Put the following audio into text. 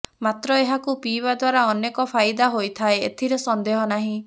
ମାତ୍ର ଏହାକୁ ପିଇବା ଦ୍ୱାରା ଅନେକ ଫାଇଦା ହୋଇଥାଏ ଏଥିରେ ସନ୍ଦେହ ନାହିଁ